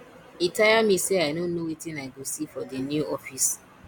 e tire me sey i no know wetin i go see for di new office